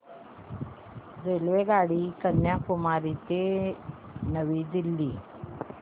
रेल्वेगाडी कन्याकुमारी ते नवी दिल्ली